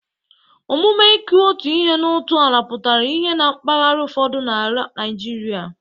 Omume ịkụ otu ihe n'otu ala pụtara ihe na mpaghara ụfọdụ n'ala Naịjirịa.